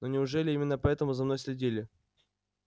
но неужели именно поэтому за мной следили